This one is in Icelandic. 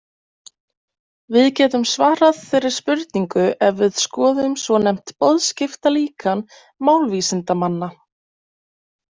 Við getum svarað þeirri spurningu ef við skoðum svonefnt boðskiptalíkan málvísindamanna.